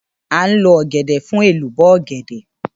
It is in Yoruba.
À ń lo ọ̀gẹ̀dẹ̀ fún ẹ̀lùbọ́ ọ̀gẹ̀dẹ̀.